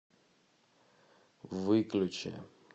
выключи